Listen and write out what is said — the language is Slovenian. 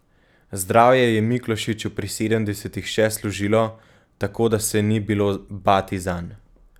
Zdravje je Miklošiču pri sedemdesetih še služilo, tako da se ni bilo bati zanj.